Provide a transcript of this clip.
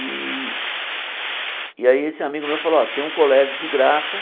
E aí esse amigo meu falou ó, tem um colégio de graça.